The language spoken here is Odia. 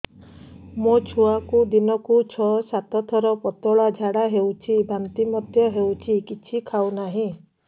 ମୋ ଛୁଆକୁ ଦିନକୁ ଛ ସାତ ଥର ପତଳା ଝାଡ଼ା ହେଉଛି ବାନ୍ତି ମଧ୍ୟ ହେଉଛି କିଛି ଖାଉ ନାହିଁ